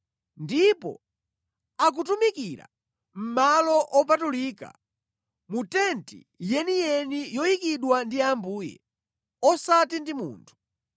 Ndipo akutumikira mʼmalo opatulika, mu Tenti yeniyeni yoyikidwa ndi Ambuye, osati ndi munthu.